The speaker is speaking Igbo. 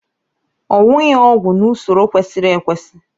owughị ọgwụ n'usoro kwesịrị ekwesị